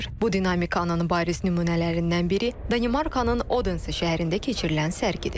Bu dinamikanın bariz nümunələrindən biri Danimarkanın Odense şəhərində keçirilən sərgidir.